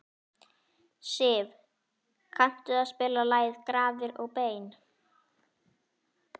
Siv, kanntu að spila lagið „Grafir og bein“?